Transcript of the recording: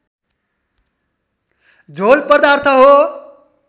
झोल पदार्थ हो